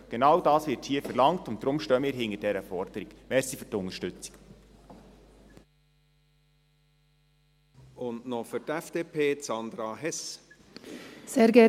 Genau das wird hier verlangt, und deshalb stehen wir hinter dieser Forderung.